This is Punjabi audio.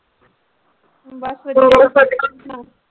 ਬਸ ਵਧੀਆ